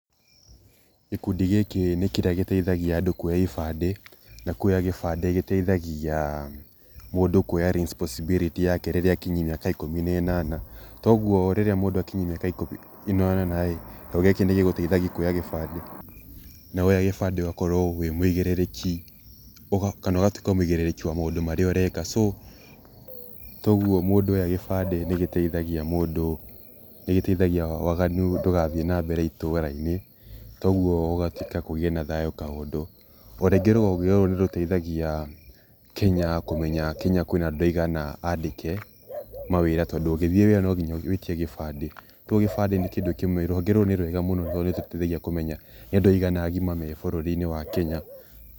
Gĩkundi gĩkĩ nĩ kĩrĩa giteithagia andũ kuoya ibandĩ. Na kuoya ibandĩ gũteithagia mundũ kuoya resposibiliti yake rĩrĩa akinyia mĩaka ikũmi na ĩnana. Toguo rĩrĩa mũndũ akinyia miaka ikũmi na inana ĩ , gĩkundi nĩ gĩgũteithagia kuoya gĩbandĩ. Na woya gĩbandĩ ũgakorwo wi mũigĩrĩrĩki, kana ũgatuĩka muigĩrĩrĩki wa maũndũ marĩa ureka. So toguo mũndu oya gĩbandi ni gĩteithagia mũndũ, nĩ gĩteithagia waganu ndũgathiĩ na mbere itũra-inĩ. Toguo gũgatuĩka kugĩe na thayũ kaundũ. Orĩngi rũhonge rũrũ ni rũteithagia kinya kũmenya Kenya kwĩna andũ aigana andĩke mawĩra, tondũ ũgĩthiĩ wĩra no nginya wĩtio gibandĩ. Toguo gĩbandĩ nĩ kĩndũ kĩmwe, rũhonge rũrũ nĩ rwega tondũ ni ruteithagia kumenya nĩ andũ aigana agima me Kenya.